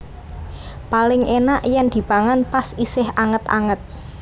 Paling enak yen dipangan pas isih anget anget